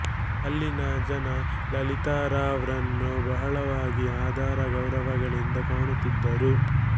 ಅಲ್ಲಿನ ಜನ ಲಲಿತಾರಾವ್ ರನ್ನು ಬಹಳವಾಗಿ ಆದರ ಗೌರವಗಳಿಂದ ಕಾಣುತ್ತಿದ್ದರು